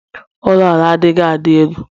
ụlọ ala adighị a dị elu